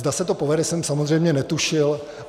Zda se to povede, jsem samozřejmě netušil.